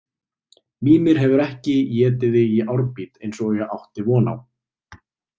Mímir hefur ekki étið þig í árbít eins og ég átti von á